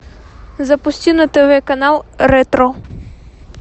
запусти на тв канал ретро